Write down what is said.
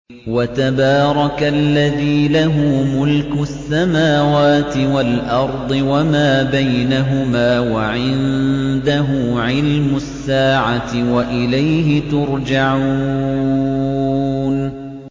وَتَبَارَكَ الَّذِي لَهُ مُلْكُ السَّمَاوَاتِ وَالْأَرْضِ وَمَا بَيْنَهُمَا وَعِندَهُ عِلْمُ السَّاعَةِ وَإِلَيْهِ تُرْجَعُونَ